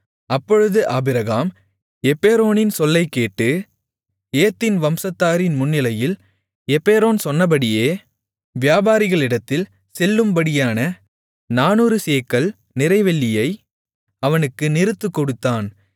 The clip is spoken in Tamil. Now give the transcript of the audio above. அப்பொழுது ஆபிரகாம் எப்பெரோனின் சொல்லைக் கேட்டு ஏத்தின் வம்சத்தாரின் முன்னிலையில் எப்பெரோன் சொன்னபடியே வியாபாரிகளிடத்தில் செல்லும்படியான 400 சேக்கல் நிறை வெள்ளியை அவனுக்கு நிறுத்துக்கொடுத்தான்